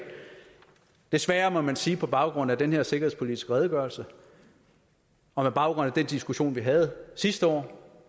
desværre må man sige på baggrund af den her sikkerhedspolitiske redegørelse og med baggrund i den diskussion vi havde sidste år